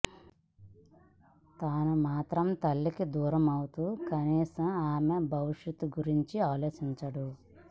తను మాత్రం తల్లికి దూరం అవుతూ కనీసం ఆమె భవిష్యత్తు గురించి ఆలోచించడు